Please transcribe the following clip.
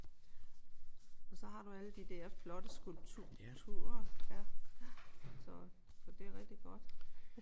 Og så har du alle de der flotte skulpturer ja. Så så det er rigtig godt